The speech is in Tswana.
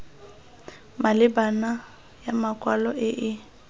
maleba ya makwalo e e